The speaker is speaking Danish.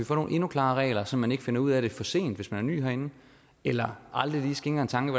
få nogle endnu klarere regler så man ikke finder ud af det for sent hvis man er ny herinde eller aldrig lige skænker en tanke